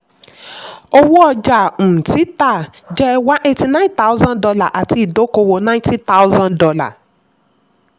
owó ọjà um títà jẹ́ one eighty nine thousand dollar àti idókòwò ninety thousand dollar.